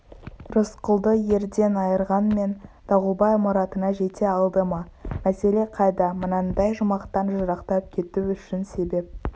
рысқұлды елден айырғанмен дауылбай мұратына жете алды ма мәселе қайда мынандай жұмақтан жырақтап кету үшін себеп